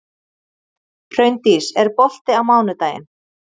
Hraundís, er bolti á mánudaginn?